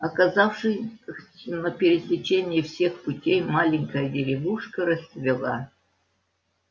оказавшись на пересечении всех путей маленькая деревушка расцвела